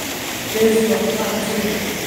Tezi waa quraacda subixii.